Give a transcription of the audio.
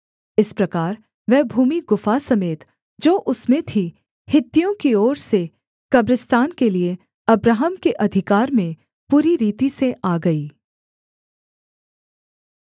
इस प्रकार वह भूमि गुफा समेत जो उसमें थी हित्तियों की ओर से कब्रिस्तान के लिये अब्राहम के अधिकार में पूरी रीति से आ गई